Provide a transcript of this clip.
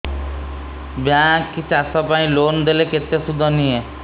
bank ଚାଷ ପାଇଁ loan ଦେଲେ କେତେ ସୁଧ ନିଏ